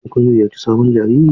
Shin kun ziyarci sabon jariri?